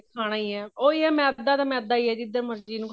ਖਾਣਾ ਈ ਐ ਉਹੀ ਹੈ ਮੈਦਾ ਤਾਂ ਮੈਦਾ ਹੀ ਹੈ ਜਿੱਦਾ ਮਰਜੀ ਇਹਨੂੰ